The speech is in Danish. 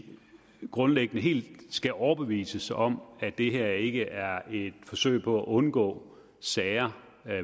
grundlæggende helt skal overbevises om at det her ikke er et forsøg på at undgå sager